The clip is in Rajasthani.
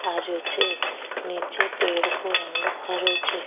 आ रियो छे नीचे पेड़ को रंग हरो छे।